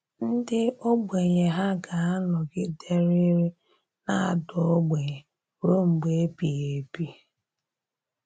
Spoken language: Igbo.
Ndị ògbènyè hà gà-anọgiderịrị na-adà ògbènyè ruo mgbe ebíghị ébì?